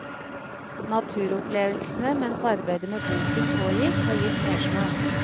Naturopplevelsene mens arbeidet med boken pågikk, har gitt mersmak.